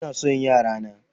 Ina son yara na.